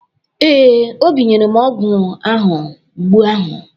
Ee, Obi nyere m ọgwụ ahụ mgbu ahụ.